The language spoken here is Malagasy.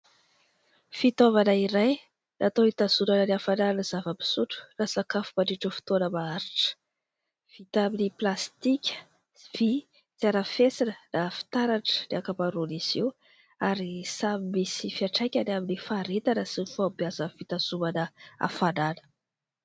Fitaovana iray natao itazonana ny hafananan'ny zava-pisotro na sakafo mandritran'ny fotoana maharitra, vita amin'ny pilastika sy vy tsy arafesina na fitaratra ny ankamaroan'izy io ary samy misy fiantraikany amin'ny faharetana sy ny fahombiazan'ny fitazonana afanana.